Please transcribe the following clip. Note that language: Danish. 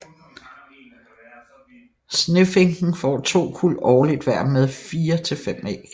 Snefinken får to kuld årligt hver med fire til fem æg